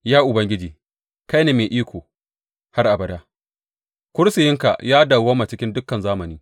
Ya Ubangiji, kai ne mai iko har abada; kursiyinka ya dawwama cikin dukan zamani.